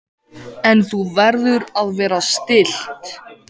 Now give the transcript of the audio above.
En þú verður að vera stillt.